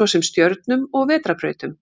svo sem stjörnum og vetrarbrautum.